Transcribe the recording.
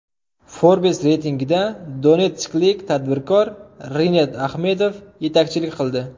Forbes reytingida donetsklik tadbirkor Rinat Axmedov yetakchilik qildi.